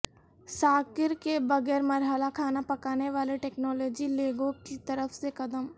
ساکر کے بغیر مرحلہ کھانا پکانے والی ٹیکنالوجی لیگو کی طرف سے قدم